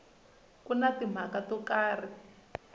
ku na timhaka to karhi